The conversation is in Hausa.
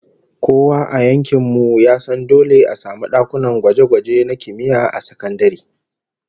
Kowa a yankin mu ya san dole a samu dakunan gwaje-gwaje na kimiyya a sakandare